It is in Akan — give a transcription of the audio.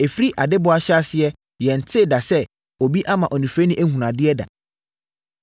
Ɛfiri adebɔ ahyɛaseɛ yɛntee da sɛ obi ama onifirani ahunu adeɛ da;